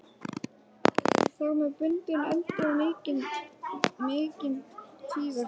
Þar með bundinn endi á mikinn tvíverknað.